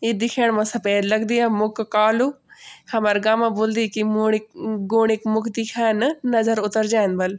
ई देखेंण मा सफेद लगदी मुक कालू हमर गांव मा बुल्दी कि मूडी गुणी क मुक दिख्यान नजर उतर जांदी बल।